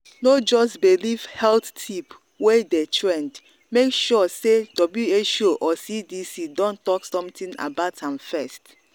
no just believe health tip wey dey trend make sure say who or cdc don talk something about am first.